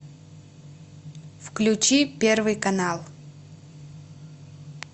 включи первый канал